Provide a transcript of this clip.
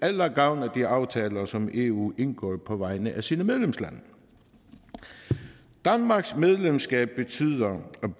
eller gavn af de aftaler som eu indgår på vegne af sine medlemslande danmarks medlemskab betyder at